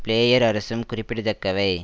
player அரசும் குறிப்பிட தக்கவை